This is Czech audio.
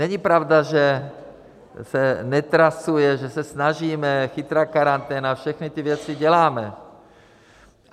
Není pravda, že se netrasuje, že se snažíme, chytrá karanténa, všechny ty věci děláme.